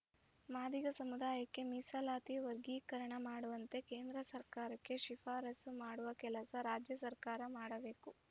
ಮಾದಿಗ ಸಮುದಾಯಕ್ಕೆ ಮೀಸಲಾತಿ ವರ್ಗೀಕರಣ ಮಾಡುವಂತೆ ಕೇಂದ್ರ ಸರ್ಕಾರಕ್ಕೆ ಶಿಫಾರಸು ಮಾಡುವ ಕೆಲಸ ರಾಜ್ಯ ಸರ್ಕಾರ ಮಾಡಬೇಕು